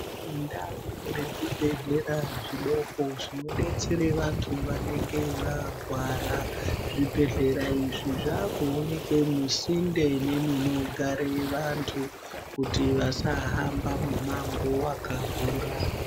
Indau yezvibhedhlera zvidoko zvinodetsera vantu vanenge varwara. Zvibhedhlera izvi zvaakuonekwe musinde nemunogare vantu kuti vasahamba mumango wakakura.